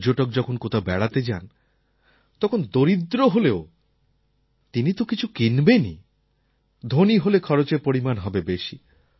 পর্যটক যখন কোথাও বেড়াতে যান তখন দরিদ্র হলেও তিনি কিছু তো কিনবেনই ধনী হলে খরচের পরিমাণ হবে বেশি